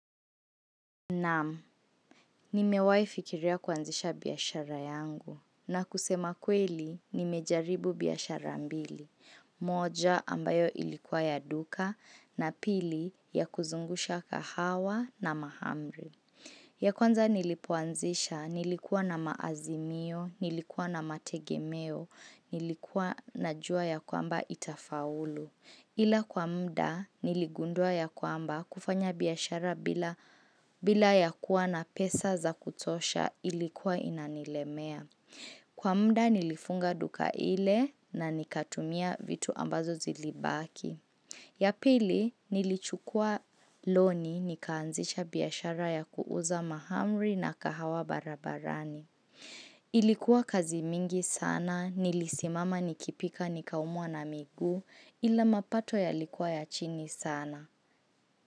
Namu, nimewai fikiria kwanzisha biyashara yangu na kusema kweli, nimejaribu biyashara mbili. Moja ambayo ilikuwa ya duka na pili ya kuzungusha kahawa na mahamri. Ya kwanza nilipoanzisha, nilikuwa na maazimio, nilikuwa na mategemeo, nilikuwa na jua ya kwamba itafaulu. Ila kwa mda niligundua ya kwamba kufanya biyashara bila ya kuwa na pesa za kutosha ilikuwa inanilemea. Kwa mda nilifunga duka ile na nikatumia vitu ambazo zilibaki. Yapili nilichukua loni nikaanzicha biyashara ya kuuza mahamri na kahawa barabarani. Ilikuwa kazi mingi sana nilisimama nikipika nikaumwa na migu ila mapato yalikuwa ya chini sana.